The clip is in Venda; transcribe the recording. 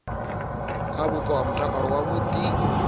kha vhupo ha mutakalo wavhudi